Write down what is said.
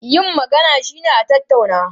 Yin magana shine a tattauna.